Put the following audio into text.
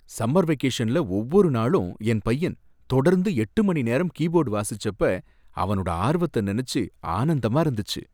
Summer வெகேஷன்ல ஒவ்வொரு நாளும் என் பையன் தொடர்ந்து எட்டு மணி நேரம் கீபோர்ட் வாசிச்சிப்ப அவனோட ஆர்வத்த நெனச்சு ஆனந்தமா இருந்துச்சு.